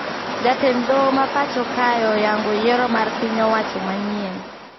Jatend doho ma pacho kae oyango yiero mar piny owacho manyien